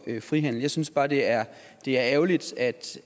frihandel jeg synes bare det er det er ærgerligt